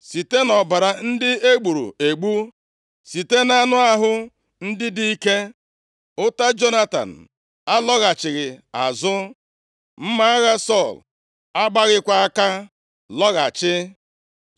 “Site nʼọbara ndị e gburu egbu, site nʼanụ ahụ ndị dị ike. Ụta Jonatan alọghachighị azụ. Mma agha Sọl agbaghịkwa aka lọghachi.